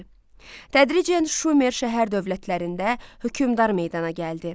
Tədricən Şumer şəhər dövlətlərində hökmdar meydana gəldi.